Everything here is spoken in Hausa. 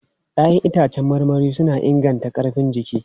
Ya'yan itãcen marmari suna inganta ƙarfin jiki.